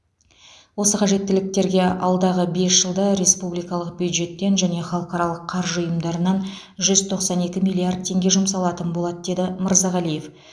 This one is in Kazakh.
осы қажеттіліктерге алдағы бес жылда республикалық бюджеттен және халықаралық қаржы ұйымдарынан жүз тоқсан екі миллиард теңге жұмсалатын болады деді мырзағалиев